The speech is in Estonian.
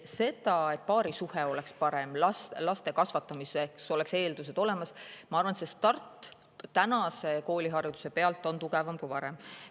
See, et paarisuhe oleks parem, et laste kasvatamiseks oleks eeldused olemas – ma arvan, et start selleks on praeguse koolihariduse puhul tugevam kui varem.